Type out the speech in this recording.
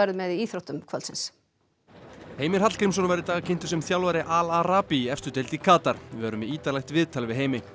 með í íþróttum kvöldsins Heimir Hallgrímsson var í dag kynntur sem þjálfari Al í efstu deild í Katar við verðum með ítarlegt viðtal við Heimi